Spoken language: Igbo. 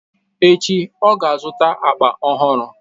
echi, ọ ga-azụta akpa ọhụrụ.